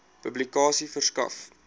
publikasie verskaf